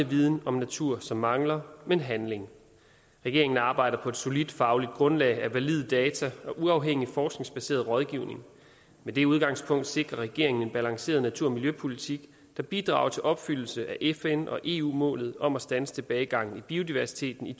viden om natur som mangler men handling regeringen arbejder på et solidt faglig grundlag af valide data og uafhængig forskningsbaseret rådgivning med det udgangspunkt sikrer regeringen en balanceret natur og miljøpolitik der bidrager til opfyldelse af fn og eu målet om at standse tilbagegangen i biodiversiteten i